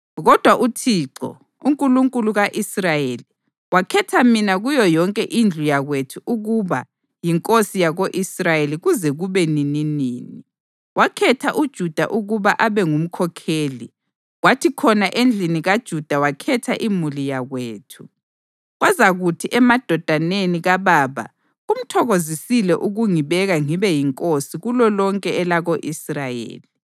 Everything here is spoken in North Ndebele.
Kodwa uThixo, uNkulunkulu ka-Israyeli, wakhetha mina kuyo yonke indlu yakwethu ukuba yinkosi yako-Israyeli kuze kube nininini. Wakhetha uJuda ukuba abe ngumkhokheli, kwathi khona endlini kaJuda wakhetha imuli yakwethu, kwazakuthi emadodaneni kababa kumthokozisile ukungibeka ngibe yinkosi kulolonke elako-Israyeli.